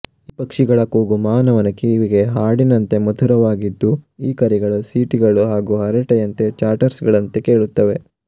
ಈ ಪಕ್ಷಿಗಳ ಕೂಗು ಮಾನವನ ಕಿವಿಗೆ ಹಾಡಿನಂತೆ ಮಧುರವಾಗಿದ್ದು ಈ ಕರೆಗೆಳು ಸಿಟಿಗಳು ಹಾಗೂ ಹರಟೆಯಂತೆ ಚಾಟ್ಟರ್ಸ್ಗಳಂತೆ ಕೇಳುತ್ತವೆ